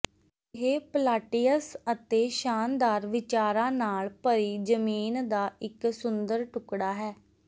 ਇਹ ਪਲਾਟੀਅਸ ਅਤੇ ਸ਼ਾਨਦਾਰ ਵਿਚਾਰਾਂ ਨਾਲ ਭਰੀ ਜ਼ਮੀਨ ਦਾ ਇੱਕ ਸੁੰਦਰ ਟੁਕੜਾ ਹੈ